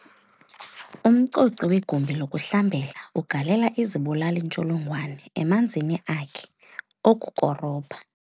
Umcoci wegumbi lokuhlambela ugalela izibulali-ntsholongwane emanzini akhe okukorobha.